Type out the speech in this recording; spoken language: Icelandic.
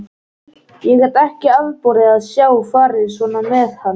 Ég gat ekki afborið að sjá farið svona með hann.